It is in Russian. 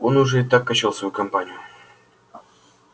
он уже и так начал свою кампанию